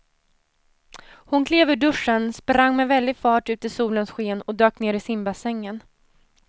Hon klev ur duschen, sprang med väldig fart ut i solens sken och dök ner i simbassängen.